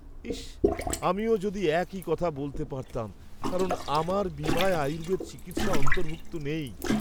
ইস, আমিও যদি একই কথা বলতে পারতাম, কারণ আমার বীমায় আয়ুর্বেদ চিকিৎসা অন্তর্ভুক্ত নেই।